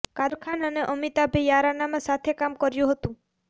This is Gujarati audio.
કાદર ખાન અને અમિતાભે યારાનામાં સાથે કામ કર્યું હતું